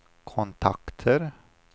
kontakter